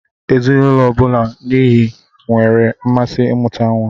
Ezinụulọ n'ihi nwere mmasị imuta nwa.